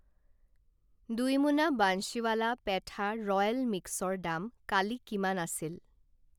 দুই মোনা বান্সীৱালা পেথা ৰয়েল মিক্সৰ দাম কালি কিমান আছিল?